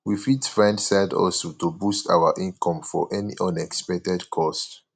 we fit find side hustle to boost our income for any unexpected cost